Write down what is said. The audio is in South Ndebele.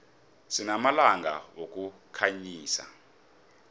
sinamalampa wokukhanyisa